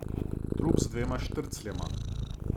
Trup z dvema štrcljema.